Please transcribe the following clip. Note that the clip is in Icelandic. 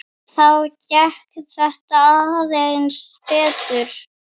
Þá gekk þetta aðeins betur.